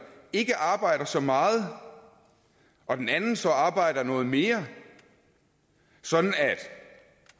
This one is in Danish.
ikke arbejder så meget og den anden så arbejder noget mere sådan at